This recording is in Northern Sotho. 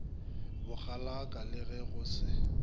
bokgalaka le ge go se